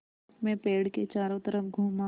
मैं पेड़ के चारों तरफ़ घूमा